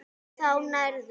Þá nærðu.